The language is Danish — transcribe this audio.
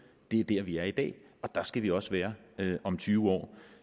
det er dér vi er i dag og dér skal vi også være om tyve år